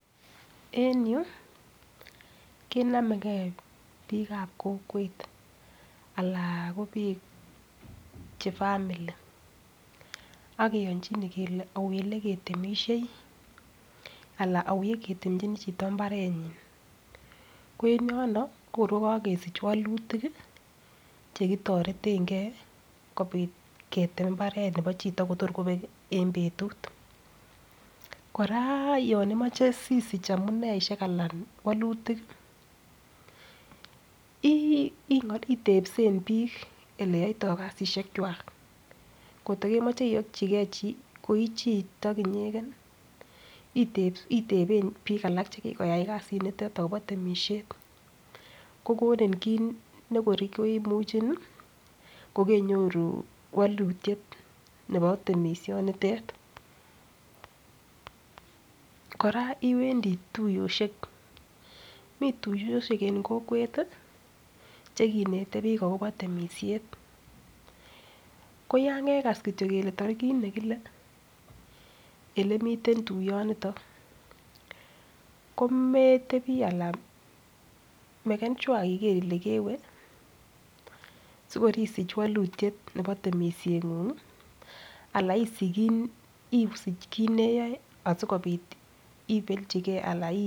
En yu kenomegei bik ab kokwet anan ko biik che family ak kiyonchine kele au ole ketemisie anan au ole ketemchini chito mbarenyin. Ko en yono ko kor ko kogesich walutikche kitoretenge ketemmbaret nebo chito kotor kobek en betut. Kora yon imoche sisich amune ishek anan walutik itebsen biik ele yoito kasishek kwak kotokemoche iyochige ko ichito inyegen iteben biik alak che kikoyai kasinito agobo temisiet ko konin kiit nekor koimuche kokeinuoru walutiet nebo timisionitet. Kora iwendi tuyoisiek. Mi tuiyosiek en kokwet che kinete biik agobo temisiet. KO yan kekas kityo kele tarigit nekile ele miten tuiyoniton kometebi anan meken sure iger ile kewe sikor isich walutiet nebo temisieng'ung ala isich kit ne iyoe asikobit ibelchige.